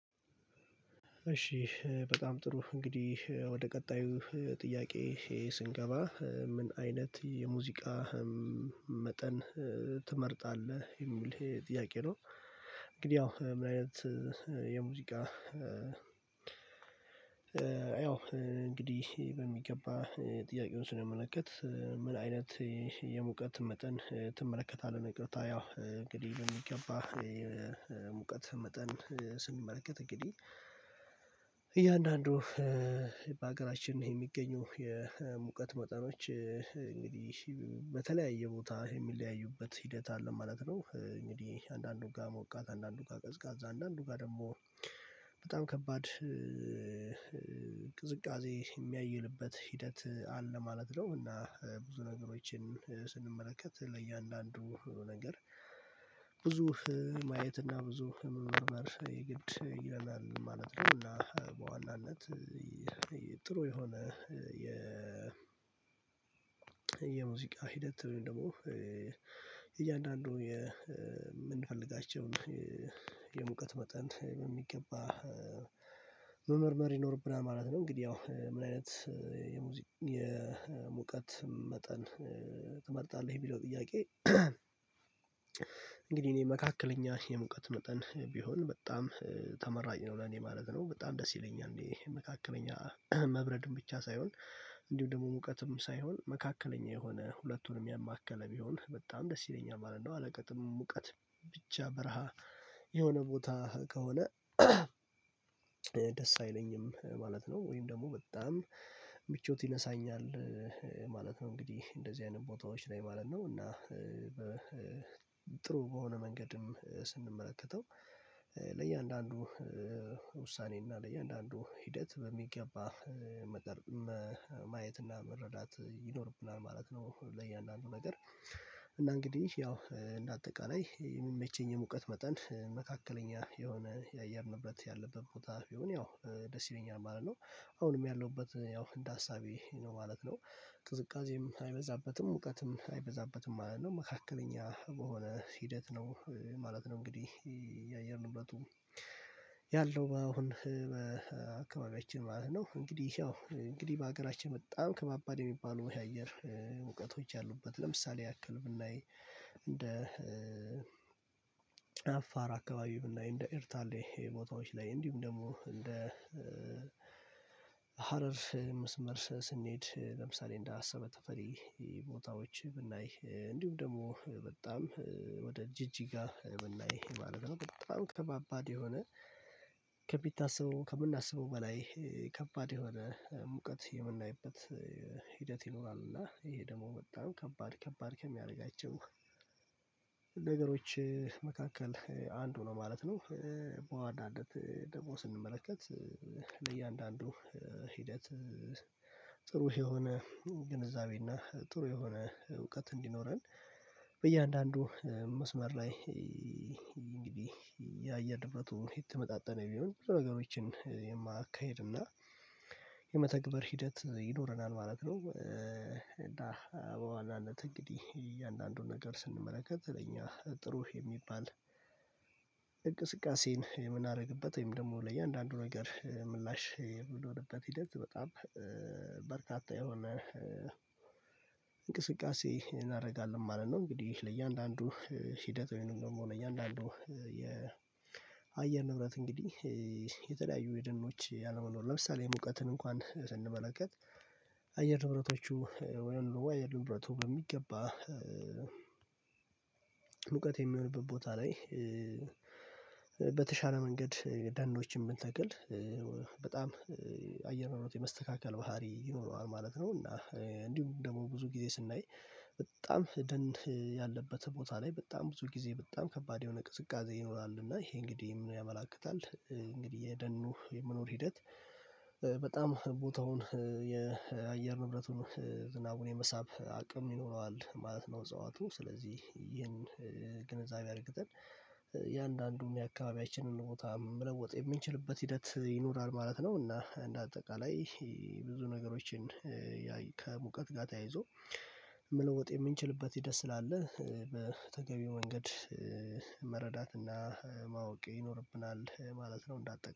እሺ በጣም ጥሩ እንግዲህ ወደ ቀጣዩ ጥያቄ ስንገባ ምን አይነት የሙዚቃ መጠን ትመርጣለህ የሚል ጥያቄ ነው? እንግዲህ ያው ምን አይነት የሙዚቃ። ያው እንግዲህ በሚገባ ጥያቄውን ስንመለከት ምን አይነት የሙቀት መጠን ትመለከታለህ? ንቅረታ ያው እንግዲህ ብንገባ ሙቀት መጠን ስንመለከት እንግዲህ እያንዳንዱ በሀገራችን ነው የሚገኙ የሙቀት መጠኖች በተለያየ ቦታ የሚለያዩበት ሂደት አለ ማለት ነው። እንግዲህ አንዳንዱ ጋሞቃት አንዳንዱ ጋር ቅዝቃዛ አንዳንዱ ጋር ደግሞ በጣም ከባድ ቅዝቃዜ የሚያይልበት ሂደት አለ ማለት ነው። እና ብዙ ነገሮችን ስንመለከት ለእያንዳንዱ ነገር ብዙ ማየት እና ብዙ መርመር የግድ ይለናል ማለት ነው። እና በዋናነት ጥሩ የሆነ የ ሂደት ደግሞ እያንዳንዱ የምንፈልጋቸውን የሙቀት መጠን በሚገባ መመርመር ይኖርብናል ማለት ነው። እንግዲህ ያው ምን አይነት የሙቀት መጠን ትመርጣለህ ቪዲዮ ጥያቄ? እንግዲህ እኔ መካከለኛ የሙቀት መጠን ቢሆን በጣም ተመራጭ ነው ለኔ ማለት ነው በጣም ደስ ይለኛል እንዴ መካከለኛ መብረድም ብቻ ሳይሆን እንዲሁ ደግሞ ሙቀትም ሳይሆን መካከለኛ የሆነ ሁለቱንም ያማከለ ቢሆን በጣም ደስ ይለኛል ማለት ነው። አለቀጥም ሙቀት ብቻ በረሃ የሆነ ቦታ ከሆነ ደስ አይለኝም ማለት ነው። ወይም ደግሞ በጣም ምቾት ይነሳኛል ማለት ነው። እንግዲህ እንደዚህ አይነት ቦታዎች ላይ ማለት ነው እና በሆነ መንገድም ስንመለከተው ለእያንዳንዱ ውሳኔና ለእያንዳንዱ ሂደት በሚገባ መቅረብ ማየትና መረዳት ይኖርብናል ማለት ነው። ለእያንዳንዱ ነገር እና እንግዲህ ያው እንደ አጠቃላይ የሚመቸኝ ሙቀት መጠን መካከለኛ የሆነ ያየር ንብረት ያለበት ቦታ ቢሆን ያው ደስ ይለኛል ማለት ነው። አሁንም ያለሁበት ያው እንደ አሳቤ ነው ማለት ነው ቅዝቃዜም አይበዛበትም ሙቀትም አይበዛበትም ማለት ነው መካከለኛ በሆነ ሂደት ነው ማለት ነው። እንግዲህ ያየንበት ያለው አሁን በአካባቢያችን ማለት ነው እንግዲህ ያው እንግዲህ በሀገራችን በጣም ከባባድ የሚባሉ ወይ አየር ሙቁቶች ያሉበት ለምሳሌ ያክል ብናይ እንደ አፋር አካባቢ ብናይ እንደ እርታሌ ቦታዎች ላይ እንዲሁም ደግሞ እንደ ሀረር መስመር ስንሄድ ለምሳሌ እንዳሰበ ተፈሪ ቦታዎች ብናይ እንዲሁም ደግሞ በጣም ወደ ጅጅጋ የምናይ ማለት ነው በጣም ከባባድ የሆነ ከምናስበው በላይ ከባድ የሆነ ሙቀት የምናይበት ሂደት ይኖራል እና ይሄ ደግሞ በጣም ከባድ ከባድ ከሚያደርጋቸው ነገሮች መካከል አንዱ ነው ማለት ነው። በዋናነት ደግሞ ስንመለከት ለእያንዳንዱ ሂደት ጥሩ የሆነ ግንዛቤ እና ጥሩ የሆነ እውቀት እንዲኖረን በእያንዳንዱ መስመር ላይ እንግዲህ የአየር ንብረቱ የተመጣጠነ ቢሆን ብዙ ነገሮችን የማካሄድና የመተግበር ሂደት ይኖረናል ማለት ነው። እና እንግዲህ እያንዳንዱን ነገር ስንመለከት ለኛ ጥሩ የሚባል የምናደርግበት ወይም ደግሞ ለእያንዳንዱ ነገር ምላሽ ብኖርበት ሂደት በጣም በርካታ የሆነ እንቅስቃሴ እናደርጋለን ማለት ነው። እንግዲህ ለእያንዳንዱ ሂደት ወይንም ደግሞ ለእያንዳንዱ የአየር ንብረት እንግዲህ የተለያዩ የደኖች ያለመኖር ለምሳሌ ሙቀትን እንኳን ስንመለከት አየር ንብረቶቹ ወይም ሉዋ የንብረቱ በሚገባ ሙቀት የሚሆንበት ቦታ ላይ በተሻለ መንገድ ዳኖችን ቢንተክል በጣም አየር ነው የመስተካከል ባህሪ ይኖረዋል ማለት ነው። እና እንዲሁ ደግሞ ብዙ ጊዜ ስናይ በጣም ደን ያለበት ቦታ ላይ በጣም ብዙ ጊዜ በጣም ከባድ የሆነ ቅዝቃዜ ይኖራል እና ይሄ እንግዲህ ምን ያመላክታል እንግዲህ የደኑ የመኖር ሂደት በጣም ቦታውን የአየር ንብረቱን ዝናቡን የመሳብ አቅም ይኖረዋል ማለት ነው። እጽዋቱ ስለዚህ ይህን ግንዛቤ አድርገን የአንዳንዱም የአካባቢያችንን ቦታ መለወጥ የምንችልበት ሂደት ይኖራል ማለት ነው። እና እንደ አጠቃላይ ብዙ ነገሮችን ከሙቀት ጋር ተያይዞ መለወጥ የምንችልበት ሂደት ስላለ በተገቢው መንገድ መረዳትና ማወቅ ይኖርብናል ማለት ነው። እንዳት